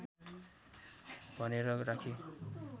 भनेर राखे